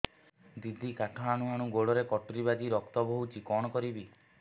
ଦିଦି କାଠ ହାଣୁ ହାଣୁ ଗୋଡରେ କଟୁରୀ ବାଜି ରକ୍ତ ବୋହୁଛି କଣ କରିବି